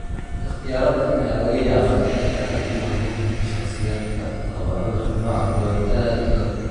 Ikhtiyaaradan ayaa laga yaabaa inay aad ugu habboon yihiin shakhsiyaadka qaba cudurka nooca kowaad aad u daran.